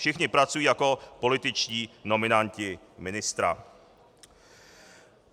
Všichni pracují jako političtí nominanti ministra.